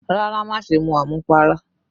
Rárá, má ṣe mu àmupara